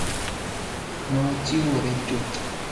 Nochiwore chuth.